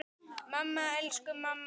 Mamma, elsku mamma mín.